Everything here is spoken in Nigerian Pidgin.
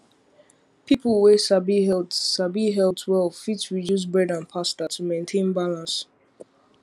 people wey sabi health sabi health well fit reduce bread and pasta to maintain balance